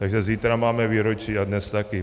Takže zítra máme výročí a dnes také.